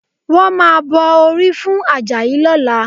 Wọ́n máa bọ orí fún Àjàyí lọ́la